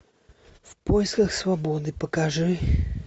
в поисках свободы покажи